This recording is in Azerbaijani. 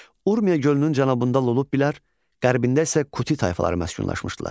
Urmiya gölünün cənubunda Lullubilər, qərbində isə Kuti tayfaları məskunlaşmışdılar.